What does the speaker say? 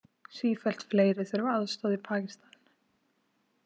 Sífellt fleiri þurfa aðstoð í Pakistan